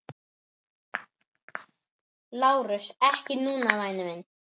LÁRUS: Ekki núna, væni minn.